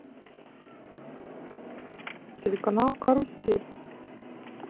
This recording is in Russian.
телеканал карусель